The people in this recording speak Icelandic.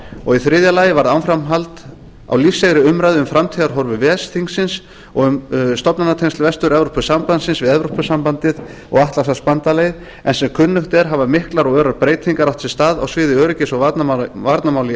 og í þriðja lagi varð áframhald á lífseigri umræðu um framtíðarhorfur ves þingsins og um stofnanatengsl vestur evrópusambandsins við evrópusambandið og atlantshafsbandalagið en sem kunnugt er hafa miklar og örar breytingar átt sér stað á sviði öryggis og varnarmála í